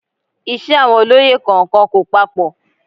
Iṣẹ́ àwọn olóyè kọ̀ọ̀kan kò papọ